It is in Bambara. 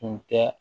Tun tɛ